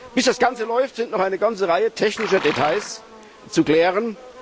Bis das Ganze läuft, sind noch eine ganze Reihe technischer Details zu klären.